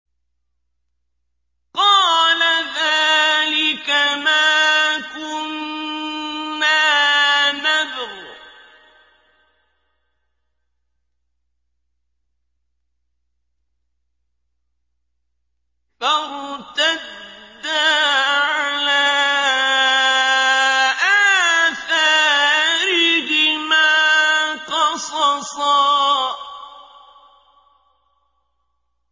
قَالَ ذَٰلِكَ مَا كُنَّا نَبْغِ ۚ فَارْتَدَّا عَلَىٰ آثَارِهِمَا قَصَصًا